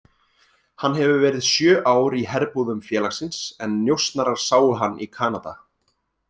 Hann hefur verið sjö ár í herbúðum félagsins en njósnarar sáu hann í Kanada.